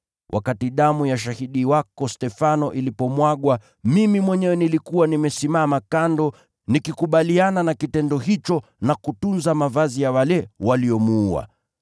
Wakati damu ya shahidi wako Stefano ilipomwagwa, mimi mwenyewe nilikuwa nimesimama kando, nikikubaliana na kitendo hicho na kutunza mavazi ya wale waliomuua.’